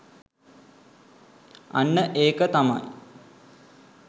අන්න ඒක තමයි